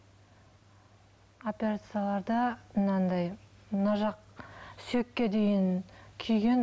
операцияларда мынандай мына жақ сүйекке дейін күйген